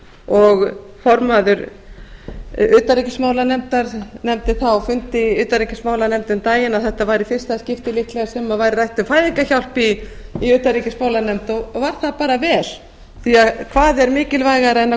og formaður utanríkismálanefndar nefndi það á fundi í utanríkismálanefnd um daginn að þetta væri í fyrsta skipti líklega sem væri rætt um fæðingarhjálp í utanríkismálanefnd og var það bara vel því hvað er mikilvægara en að